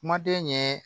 Kumaden ɲɛ